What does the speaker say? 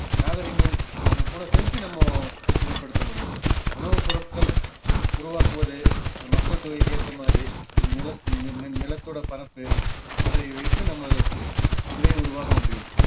நாகரீகங்கள் அது கூட சேர்த்து நம்ம மேம்படுத்த முடியும் உணவுப்பொருட்கள் உருவாக்குவது மக்கள் தொகைக்கு ஏற்ற மாதிரி நிலத்~ நி ~ நி~ நிலத்தோட பரப்பு அதை வைத்து நம்ம இதை உருவாக்கமுடியும்